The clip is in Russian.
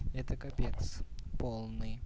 это капец полный